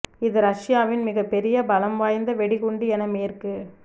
இது ரஷ்யாவின் மிகப் பொிய பலம் வாய்ந்த வெடிகுண்டு என மேற்கு